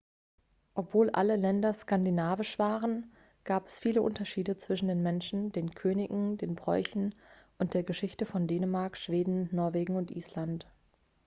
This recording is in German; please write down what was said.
obwohl alle länder skandinavisch waren gab es viele unterschiede zwischen den menschen den königen den bräuchen und der geschichte von dänemark schweden norwegen und island